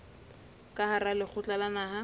ka hara lekgotla la naha